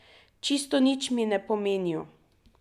Čisto nič mi ne pomenijo.